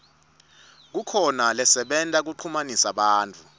kukhona lasebenta kuchumanisa bantfu